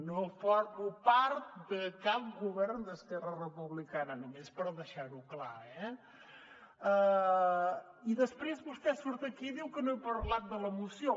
no formo part de cap govern d’esquerra republicana només per deixar ho clar eh i després vostè surt aquí i diu que no he parlat de la moció